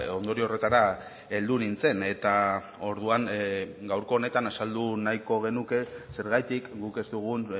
ondorio horretara heldu nintzen eta orduan gaurko honetan azaldu nahiko genuke zergatik guk ez dugun